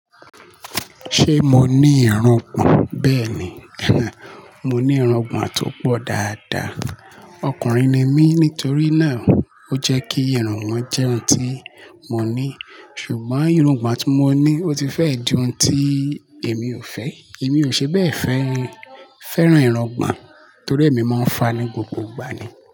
Ṣé mo ní irungbọ̀n? Bẹ́ẹ̀ ni, mo ní irungbọ̀n tó pọ̀ dáadáa. Ọkùnrin ni mí, nítorí náà, ó jẹ́ kí irungbọ̀n jẹ́ ohun tí mo ní. Ṣùgbọ́n irungbọ̀n tí mo ní, ó ti fẹ́ di ohun tí èmi ò fẹ́. Èmi ò ṣe bẹ́ẹ̀ fẹ́, fẹ́ràn irungbọ̀n torí èmi máa ń fa ní gbogbo ìgbà ni.